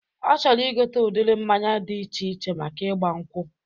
Ọ chọrọ ịgote udiri mmanya dị iche iche maka igba nkwụ